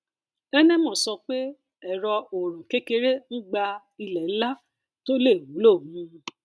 enemoh sọ pé ẹrọ oòrùn kékeré ń gba ilẹ ńlá tó lè wúlò um